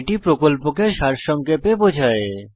এটি প্রকল্পকে সারসংক্ষেপে বোঝায়